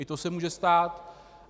I to se může stát.